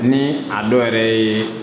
Ni a dɔ yɛrɛ yeee